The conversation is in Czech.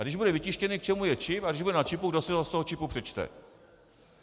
A když bude vytištěný, k čemu je čip, a když bude na čipu, kdo si ho z toho čipu přečte?